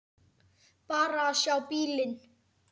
Bara að sjá bílinn.